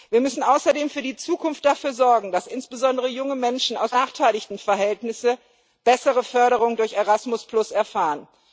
Wir müssen außerdem für die Zukunft dafür sorgen, dass insbesondere junge Menschen aus benachteiligten Verhältnissen eine bessere Förderung durch Erasmus erfahren.